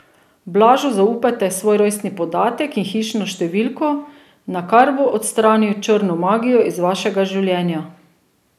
Blažu zaupajte svoj rojstni podatek in hišno številko, nakar bo odstranil črno magijo iz vašega življenja!